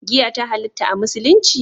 Giya ta halatta a musulunci?